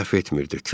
Səhv etmirdi.